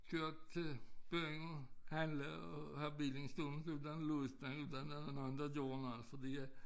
Køre til byen handle og have bilen stående uden at låse den uden at der var nogen der gjorde noget fordi at